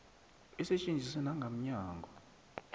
isetjenziswe nanga mnyango